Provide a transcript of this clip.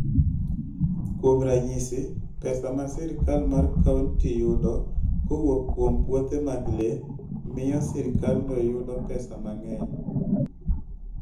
Kuom ranyisi, pesa ma sirkal mar kaunti yudo kowuok kuom puothe mag le, miyo sirkandno yudo pesa mang'eny.